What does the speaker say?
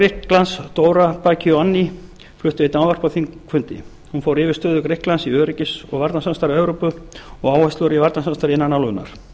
grikklands dora bakionni flutti einnig ávarp á þingfundi hún fór yfirtöku grikklands í öryggis og varnarsamstarfi evrópu og áherslu í varnarsamstarfi innan álfunnar